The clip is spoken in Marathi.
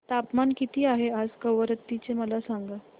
तापमान किती आहे आज कवारत्ती चे मला सांगा